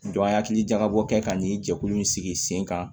an ye hakili jagabɔ kɛ ka nin jɛkulu in sigi sen kan